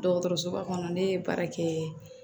Dɔgɔtɔrɔsoba kɔnɔ ne ye baara kɛ